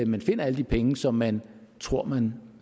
man finder alle de penge som man tror man